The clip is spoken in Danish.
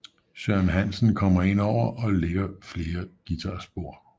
Søren Hansen kommer ind over og ligger flere guitar spor